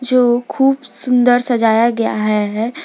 जो खूब सुंदर सजाया गया है।